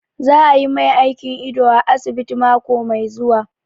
Za a yi mai aikin ido a asibiti mako mai zuwa